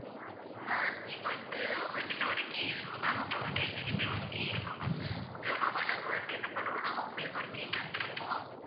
ஆஹ் நீங்க வந்து உங்க கிட்ட ஒரு key இருக்கும் ma'am அப்புறம் வந்து எங்ககிட்டயும் ஒரு key இருக்கும் ma'am okay வா ma'am நாங்க வந்து என்ன பண்ணுவோம்னா உங்களுக்கு ஒரு key தந்திருபோம்